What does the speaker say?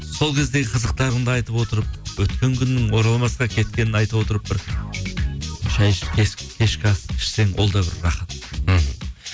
сол кездегі қызықтарымды айтым отырып өткен күннің оралмасқа кеткенін айтып отырып бір шай ішіп кешкі ас ішсең ол да бір рахат мхм